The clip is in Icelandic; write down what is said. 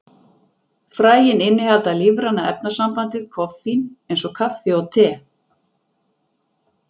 Fræin innihalda lífræna efnasambandið koffín, eins og kaffi og te.